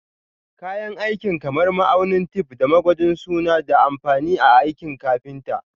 Kayan aikin kamar ma'aunin tef, da magwaji suna da amfani a aikin kafinta.